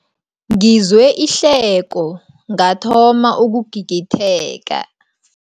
Ngizwe ihleko ngathoma ukugigitheka.